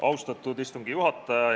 Austatud istungi juhataja!